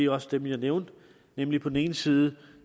også dem jeg nævnte nemlig på den ene side